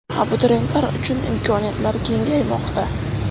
Abituriyentlar uchun imkoniyatlar kengaymoqda!.